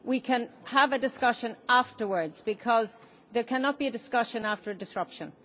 We can have a discussion afterwards but there cannot be a discussion after a disruption.